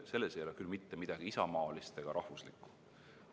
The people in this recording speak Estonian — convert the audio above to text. Selles ei ole küll mitte midagi isamaalist ega rahvuslikku.